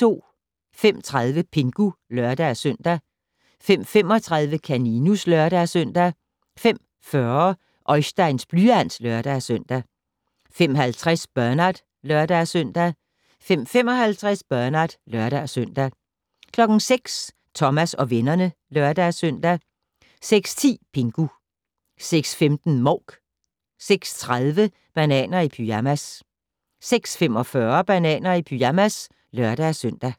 05:30: Pingu (lør-søn) 05:35: Kaninus (lør-søn) 05:40: Oisteins blyant (lør-søn) 05:50: Bernard (lør-søn) 05:55: Bernard (lør-søn) 06:00: Thomas og vennerne (lør-søn) 06:10: Pingu 06:15: Mouk 06:30: Bananer i pyjamas 06:45: Bananer i pyjamas (lør-søn)